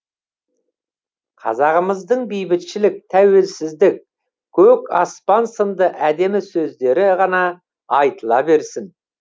қазағымыздың бейбітшілік тәуелсіздік көк аспан сынды әдемі сөздері ғана айтыла берсін